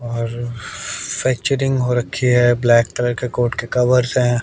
और फैक्चरिंग हो रखी है ब्लैक कलर के कोट के कवर्स है।